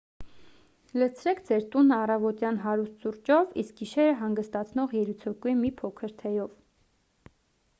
լցրեք ձեր տունը առավոտյան հարուստ սուրճով իսկ գիշերը հանգստացնող երիցուկի մի փոքր թեյով